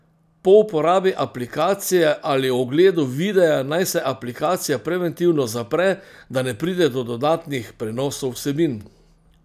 Po uporabi aplikacije ali ogledu videa naj se aplikacija preventivno zapre, da ne pride do dodatnih prenosov vsebin.